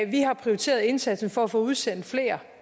vi har prioriteret indsatsen for at få udsendt flere